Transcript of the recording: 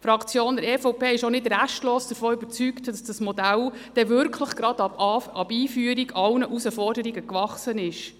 Die Fraktion EVP ist auch nicht restlos überzeugt, dass das Modell dann wirklich gleich ab Einführung allen Herausforderungen gewachsen ist.